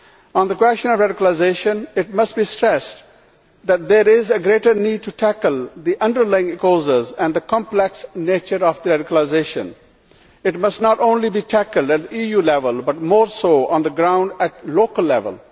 On the question of radicalisation, it must be stressed that there is a greater need to tackle the underlying causes and the complex nature of radicalisation. It must not only be tackled at EU level, but more so on the ground, at local level.